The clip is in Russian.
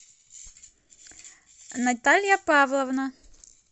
наталья павловна